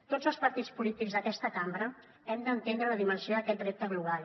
tots els partits polítics d’aquesta cambra hem d’entendre la dimensió d’aquest repte global